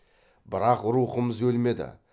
бірақ рухымыз өлмеді